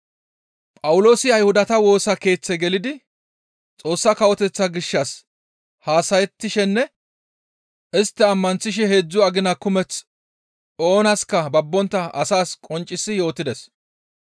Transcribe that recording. Phawuloosi Ayhudata Woosa Keeththe gelidi Xoossa Kawoteththaa gishshas haasayettishenne istta ammanththishe heedzdzu agina kumeth oonaska babbontta asaas qonccisi yootides.